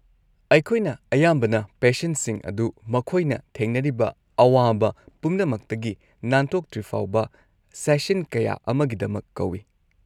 ꯑꯩꯈꯣꯏꯅ ꯑꯌꯥꯝꯕꯅ ꯄꯦꯁꯦꯟꯁꯤꯡ ꯑꯗꯨ ꯃꯈꯣꯏꯅ ꯊꯦꯡꯅꯔꯤꯕ ꯑꯋꯥꯕ ꯄꯨꯝꯅꯃꯛꯇꯒꯤ ꯅꯥꯟꯊꯣꯛꯇ꯭ꯔꯤꯐꯥꯎꯕ ꯁꯦꯁꯟ ꯀꯌꯥ ꯑꯃꯒꯤꯗꯃꯛ ꯀꯧꯏ ꯫